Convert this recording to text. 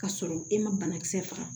K'a sɔrɔ e ma banakisɛ faga